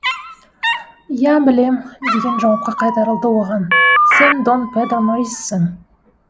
иә білем деген жауапқа қайтарылды оған сен дон педро нориссің